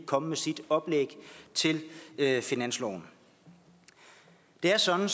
komme med sit oplæg til finansloven det er sådan